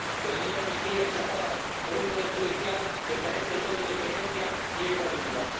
que la ley de amnistía es rechazada por un Poder Judicial que carece de toda independencia y ecuanimidad